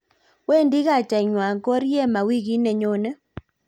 wendi kaitangwany Koriema wikit ne nyone